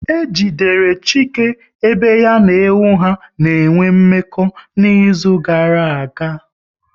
E jidere Chike ebe ya na ewu ha n'enwe mmekọ n'izuka gara aga